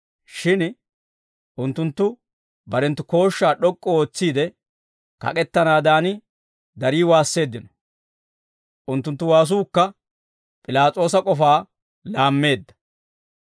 Shin unttunttu barenttu kooshshaa d'ok'k'u ootsiide, kak'ettanaadaan darii waasseeddino. Unttunttu waasuukka P'ilaas'oosa k'ofaa laammeedda.